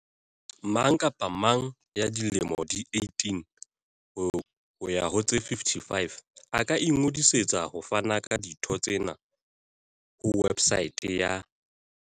Mang kapa mang ya dilemo di 18 ho ya ho tse 55 a ka ingodisetsa ho fana ka ditho tsena ho websaete ya